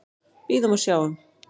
Bíðum og sjáum.